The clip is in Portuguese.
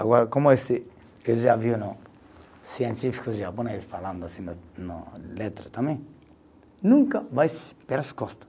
Agora, como esse, eu já vi um científico de Japão falando assim no letra também, nunca vai pelas costas.